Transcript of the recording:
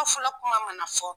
A fɔla kuma mana fɔ